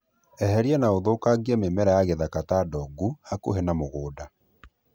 Eheria na ũthũkangie mĩmera ya gĩthaka ta ndongu hakuhĩ na mũgũnda.